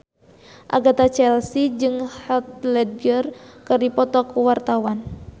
Agatha Chelsea jeung Heath Ledger keur dipoto ku wartawan